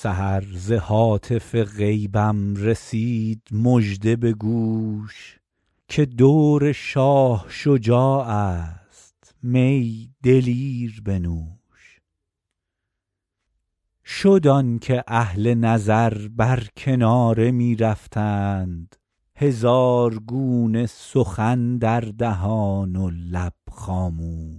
سحر ز هاتف غیبم رسید مژده به گوش که دور شاه شجاع است می دلیر بنوش شد آن که اهل نظر بر کناره می رفتند هزار گونه سخن در دهان و لب خاموش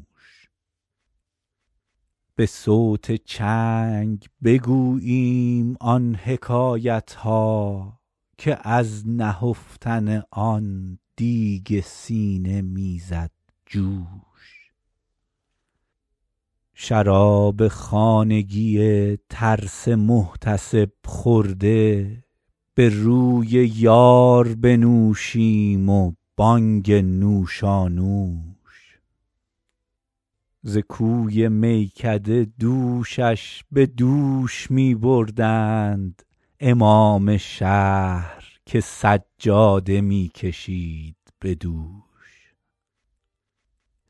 به صوت چنگ بگوییم آن حکایت ها که از نهفتن آن دیگ سینه می زد جوش شراب خانگی ترس محتسب خورده به روی یار بنوشیم و بانگ نوشانوش ز کوی میکده دوشش به دوش می بردند امام شهر که سجاده می کشید به دوش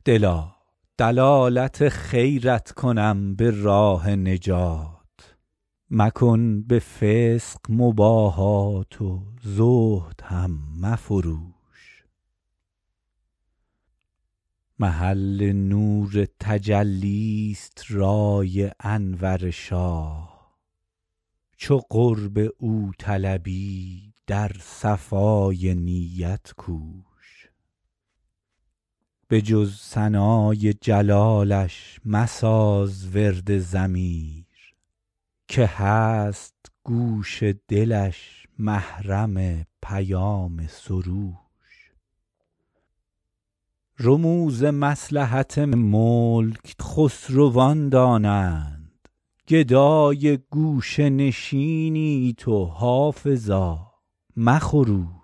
دلا دلالت خیرت کنم به راه نجات مکن به فسق مباهات و زهد هم مفروش محل نور تجلی ست رای انور شاه چو قرب او طلبی در صفای نیت کوش به جز ثنای جلالش مساز ورد ضمیر که هست گوش دلش محرم پیام سروش رموز مصلحت ملک خسروان دانند گدای گوشه نشینی تو حافظا مخروش